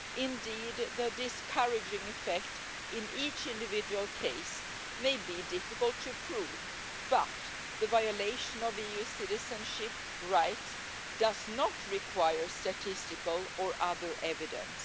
Indeed, the discouraging effect in each individual case may be difficult to prove, but the violation of EU citizenship rights does not require statistical or other evidence.